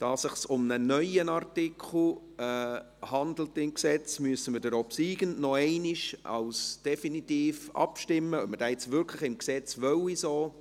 Da es sich um einen neuen Artikel im Gesetz handelt, müssen wir nochmals abstimmen, ob wir diesen gemäss dem obsiegenden Antrag nun wirklich definitiv so im Gesetz haben wollen.